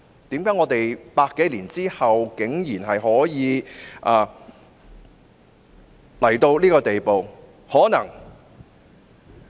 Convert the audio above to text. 為何我們在100多年後，竟然可以到了如此地步？